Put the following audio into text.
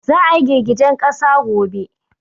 Za a yi girgijen ƙasa gobe